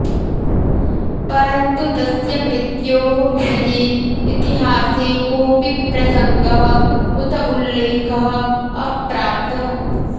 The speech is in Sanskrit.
परन्तु तस्य मृत्योः विषये इतिहासे कोऽपि प्रसङ्गः उत उल्लेखः अप्राप्तः